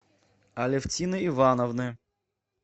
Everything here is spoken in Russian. алевтины ивановны